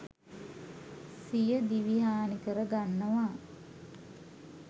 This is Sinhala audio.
සියදිවි හානි කර ගන්නවා.